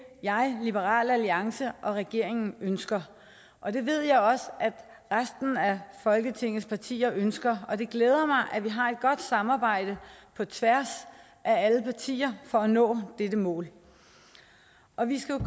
jeg liberal alliance og regeringen ønsker og det ved jeg også at resten af folketingets partier ønsker og det glæder mig at vi har et godt samarbejde på tværs af alle partier for at nå dette mål og vi skal